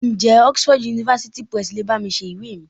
Ǹjẹ́ Oxford University Press le bá mi ṣe ìwé mi?